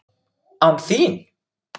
ÁN ÞÍN!?